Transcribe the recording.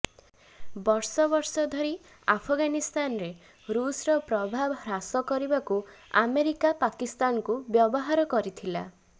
ବର୍ଷ ବର୍ଷ ଧରି ଆଫଗାନିସ୍ତାନରେ ରୁଷର ପ୍ରଭାବ ହ୍ରାସ କରିବାକୁ ଆମେରିକା ପାକିସ୍ତାନକୁ ବ୍ୟବହାର କରିଥିଲା